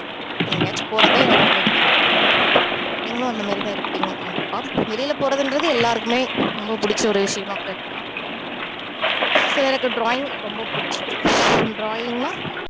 எங்கயாச்சும் போறதுதான் எனக்கு ரொம்ப புடிக்கும் நீங்களும் அந்தமாதிரி தான் இருப்பீங்க கண்டிப்பா வெளில போறதுன்றது எல்லாருக்குமே ரொம்ப புடிச்ச ஒரு விஷயமா கூட இருக்கலாம் அடுத்தது எனக்கு drawing ரொம்ப புடிச்சிருக்கும் drawing னா